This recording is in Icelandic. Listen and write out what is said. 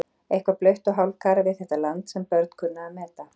Eitthvað blautt og hálfkarað við þetta land sem börn kunnu að meta.